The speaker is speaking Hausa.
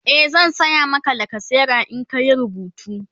e zan saya Maka lacasera in ka Yi rubutu